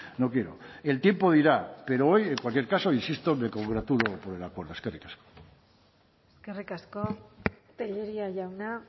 no quiero el tiempo dirá pero hoy en cualquier caso insisto me congratulo con el acuerdo eskerrik asko eskerrik asko tellería jauna